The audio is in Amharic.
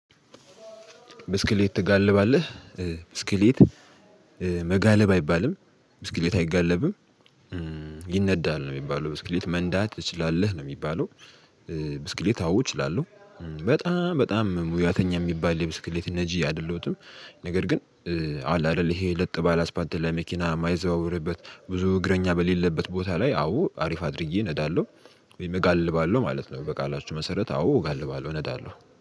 ብስክሌት ትጋልባለህ? ብስክሌት መጋለብ አይባልም ብስክሌት አይጋለብም። ይነዳል ነው የሚባለው ብስክሌት መንዳት ትችላለህ? ነው የሚባለው። ብስክሌት አዎ እችላለሁው በጣም በጣም ሙያተኛ የሚባል የብስክሌት ነጂ አይደለሁትም። ነገር ግን አለ አይደል ይሄ ለጥ ባለ አስፓልት ላይ መኪና የማይዘዋወርበት ብዙ እግረኛ በሌለበት ቦታ ላይ አዎ አሪፍ አድርጌ አነዳለው ወይም እጋልባለው ማለት ነው በቃላችሁ መሰረት አዎ እጋልባለው አነዳለው።